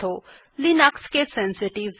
মনে রাখবেন যে লিনাক্স কেস সেনসিটিভ